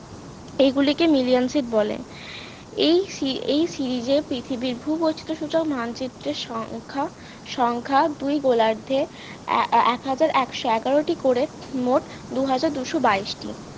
এইগুলিকে millionsip বলে এই series এই series এ পৃথিবীর ভূবৈচিত্র সূচক মানচিত্রের সংখ্যা সংখ্যা দুই গোলার্ধে এ~ এক হাজার একশো এগারোটি করে মোট দুহাজার দুশো বাইশ টি